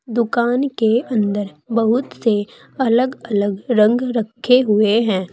दुकान के अंदर बहुत से अलग अलग रंग रखे हुए हैं।